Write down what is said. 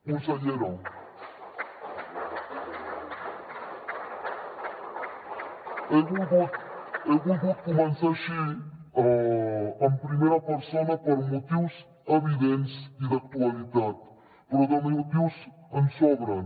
consellera he volgut començar així en primera persona per motius evidents i d’actualitat però de motius en sobren